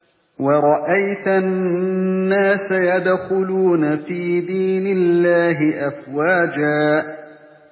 وَرَأَيْتَ النَّاسَ يَدْخُلُونَ فِي دِينِ اللَّهِ أَفْوَاجًا